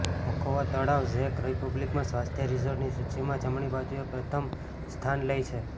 Machovo તળાવ ઝેક રિપબ્લિકમાં સ્વાસ્થ્ય રિસોર્ટની સૂચિમાં જમણી બાજુએ પ્રથમ સ્થાન લે છે